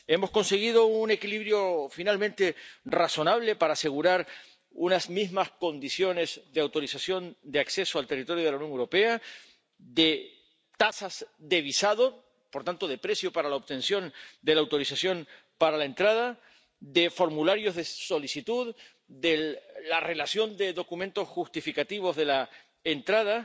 Hemos conseguido un equilibrio finalmente razonable para asegurar unas mismas condiciones de autorización de acceso al territorio de la Unión Europea, de tasas de visado —por tanto, de precio para la obtención de la autorización para la entrada—, de formularios de solicitud, de la relación de documentos justificativos de la entrada